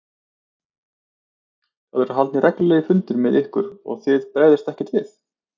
Það eru haldnir reglulegir fundir með ykkur og þið bregðist ekkert við?